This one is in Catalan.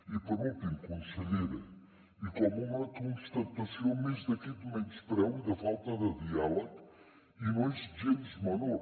i per últim consellera i com una constatació més d’aquest menyspreu i de falta de diàleg i no és gens menor